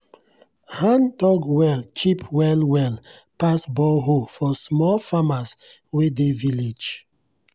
hand-dug well cheap well well pass borehole for small farmers wey dey village.